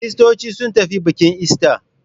Kiristoci sun tafi bikin ister.